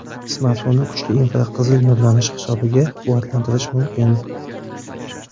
Smartfonni kuchli infraqizil nurlanish hisobiga quvvatlantirish mumkin.